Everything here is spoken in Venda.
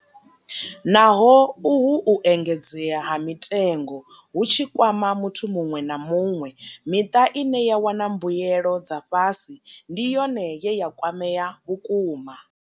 Naho uhu u engedzea ha mitengo hu tshi kwama muthu muṅwe na muṅwe, miṱa ine ya wana mbuelo dza fhasi ndi yone ye ya kwamea vhukuma.